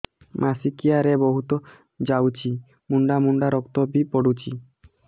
ମାସିକିଆ ରେ ବହୁତ ଯାଉଛି ମୁଣ୍ଡା ମୁଣ୍ଡା ରକ୍ତ ବି ପଡୁଛି